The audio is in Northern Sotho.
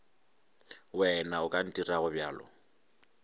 wena o ka ntirago bjalo